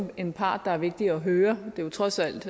en part det er vigtigt at høre det er trods alt